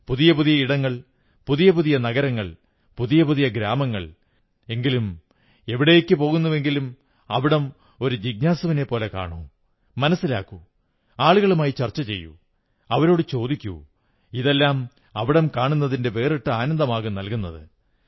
പുതിയ പുതിയ ഇടങ്ങൾ പുതിയപുതിയ നഗരങ്ങൾ പുതിയ പുതിയ ഗ്രാമങ്ങൾഎങ്കിലും എവിടേക്കു പോകുന്നുവെങ്കിലും അവിടം ഒരു ജിജ്ഞാസുവിനെപ്പോലെ കാണൂ മനസ്സിലാക്കൂ ആളുകളുമായി ചർച്ച ചെയ്യൂ അവരോടു ചോദിക്കൂ ഇതെല്ലാം അവിടം കാണുന്നതിന്റെ വേറിട്ട ആനന്ദമാകും നൽകുന്നത്